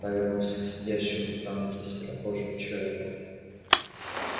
повернулся к сидящему в танке серокожему человеку